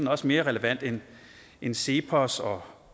også mere relevant end end cepos og